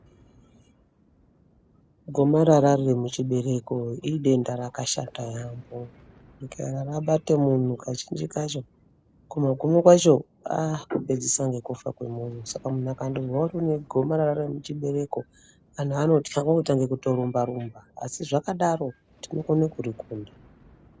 Gomarara riri muchibereko idenda rakashata yaambo. Kana rabate muntu kazhinji kacho kumagumo kwako aa kupedzisa ngekufa kwemuntu. Saka muntu akandozwa kuti une gomarara remuchibereko antu anotya kwaakutange kutorumbarumba. Asi zvakadaro tinokone kurikunda.